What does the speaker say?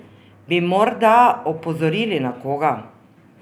Bi morda opozorili na koga?